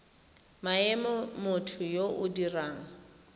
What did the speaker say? maemo motho yo o dirang